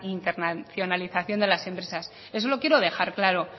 internacionalización de las empresas eso lo quiero dejar claro